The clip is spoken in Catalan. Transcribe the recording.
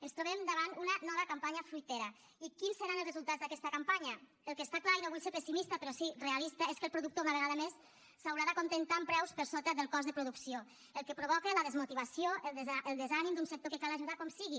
ens trobem davant una nova campanya fruitera i quins seran els resultats d’aquesta campanya el que està clar i no vull ser pessimista però sí realista és que el productor una vegada més s’haurà d’acontentar amb preus per sota del cost de producció el que provoca la desmotivació el desànim d’un sector que cal ajudar com sigui